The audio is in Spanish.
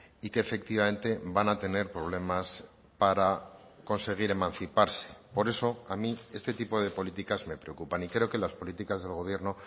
y que efectivamente van a tener problemas para conseguir emanciparse por eso a mí este tipo de políticas me preocupan y creo que las políticas del gobierno